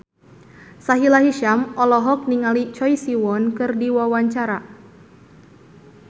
Sahila Hisyam olohok ningali Choi Siwon keur diwawancara